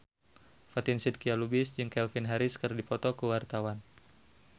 Fatin Shidqia Lubis jeung Calvin Harris keur dipoto ku wartawan